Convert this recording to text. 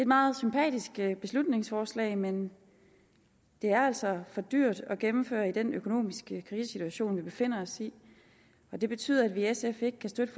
meget sympatisk beslutningsforslag men det er altså for dyrt at gennemføre i den økonomiske krisesituation vi befinder os i det betyder at vi i sf ikke kan støtte